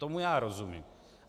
Tomu já rozumím.